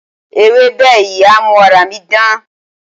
Ewébẹ̀ yìí á mú ara mi dán.